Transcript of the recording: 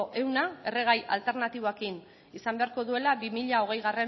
ehun erregai alternatiboekin izan beharko duela bi mila hogeigarrena